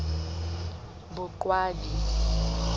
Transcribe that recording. boqwabi